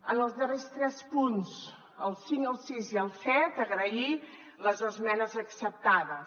en els darrers tres punts el cinc el sis i el set agrair les esmenes acceptades